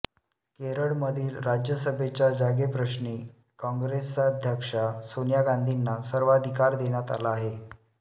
केरळमधील राज्यसभेच्या जागेप्रश्नी कॉंग्रेसाध्यक्षा सोनिया गांधींना सर्वाधिकार देण्यात आला आहे